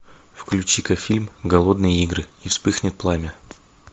включи ка фильм голодные игры и вспыхнет пламя